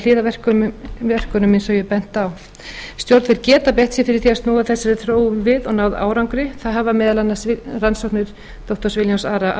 hliðarverkunum eins og ég benti á stjórnvöld geta beitt sér fyrir því að snúa þessari þróun við og náð árangri það hafa meðal annars rannsóknir doktor williams ara